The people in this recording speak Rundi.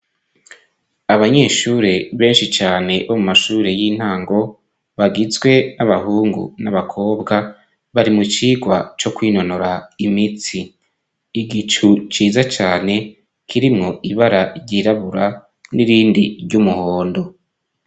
Abanyeshure benshi cane bo mu mashuri y'intango bagizwe n'abahungu n'abakobwa bari mu cigwa cyo kwinonora imitsi. Igicu ciza cyane kirimwo ibara ryirabura n'irindi ry'umuhondo.